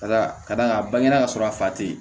Ka da ka d'a kan bange ka sɔrɔ a fa tɛ ye